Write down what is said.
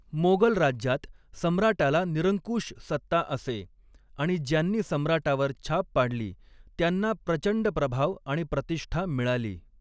मोगल राज्यात सम्राटाला निरंकुश सत्ता असे आणि ज्यांनी सम्राटावर छाप पाडली त्यांना प्रचंड प्रभाव आणि प्रतिष्ठा मिळाली.